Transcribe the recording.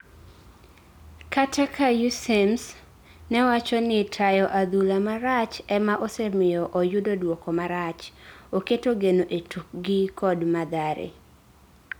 kata ka Aussems newachon ni tayo adhula marach emaosemiyo oyudo dwoko marach, oketo geno etukgi kod Mathare